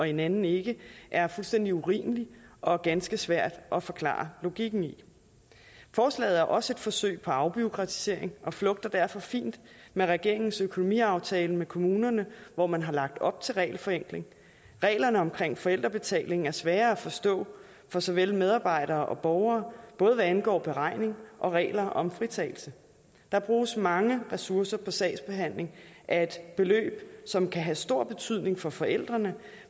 i en anden ikke er fuldstændig urimelig og ganske svær at forklare logikken i forslaget er også et forsøg på afbureaukratisering og flugter derfor fint med regeringens økonomiaftale med kommunerne hvor man har lagt op til regelforenkling reglerne om forældrebetaling er svære at forstå for såvel medarbejdere som borgere både hvad angår beregning og regler om fritagelse der bruges mange ressourcer på sagsbehandling af et beløb som kan have stor betydning for forældrene